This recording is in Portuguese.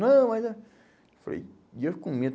Não, mas eh... Falei, e eu com medo.